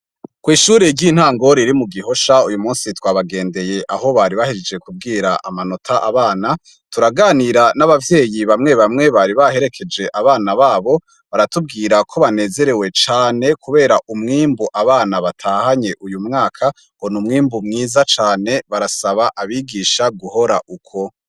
kw'ishuri ry'intango riri mu gihosha uyu munsi twabagendeye aho bari bahejeje kubwira amanota abana, turaganira n'abavyeyi bamwe bamwe bari baherekeje abana babo baratubwira ko banezerewe cane kubera umwimbu abana batahanye uyu mwaka ngo n'umwimbu mwiza cane barasaba abigisha guhora uko.